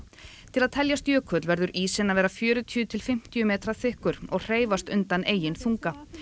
til að teljast jökull verður ísinn að vera fjörutíu til fimmtíu metra þykkur og hreyfast undan eigin þunga